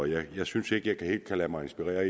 jeg synes ikke jeg helt kan lade mig inspirere